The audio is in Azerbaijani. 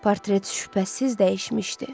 Portret şübhəsiz dəyişmişdi.